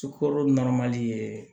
Sukoro ye